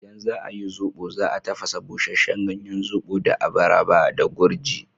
In za ayi zobo, za a tafasa busheshen ganyen zobo da abaraba da gurji.